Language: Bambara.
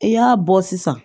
I y'a bɔ sisan